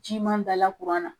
Ci man dala kuran na.